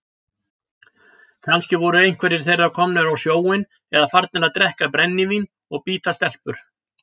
Kannski voru einhverjir þeirra komnir á sjóinn eða farnir að drekka brennivín og bíta stelpur.